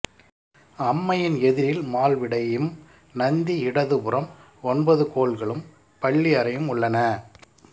அம்மையின் எதிரில் மால்விடையும் நந்தி இடதுபுறம் ஒன்பதுகோள்களும் பள்ளியறையும் உள்ளன